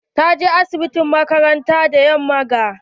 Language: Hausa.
Ta je asibitin makaranta da yamman ga.